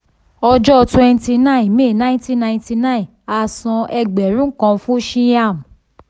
ọjọ́ twenty nine may nineteen ninety nine a san ẹgbẹ̀rún kan fún shyam.